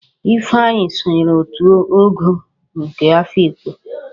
Ifeanyi sonyere òtù Ogo nke obodo Afịkpo